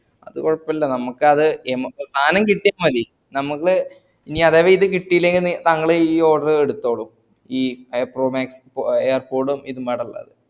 അത് കൊഴപ്പില്ല നമക്ക് അത് സാനോ കിട്ടിയ മതി ഇനിയതവ കിട്ടി യില്ലെങ്കിൽ നി താങ്കൾ ഈ order എടുതോളു ഈ air pro max പൊ airpods ഉം ഇതുമ്മടല്ലത്